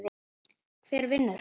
Hver vinnur?